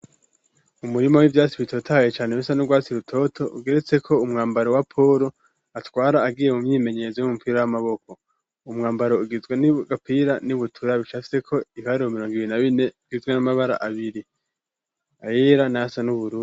Umurimo w'ivyatsi bitotaye cane bisa n'urwatsi rutoto ugeretse ko umwambaro wa polo atwara agiye mu myimenyezo y'umupira w'amaboko, umwambaro ugizwe n'igapira n'ibutura bishabicafyeko ibiharuro mirongo ibiri na bine bigizwe n'amabara abiri ayera nasa nuburu.